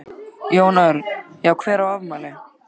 Jón Örn: Já hver á afmæli?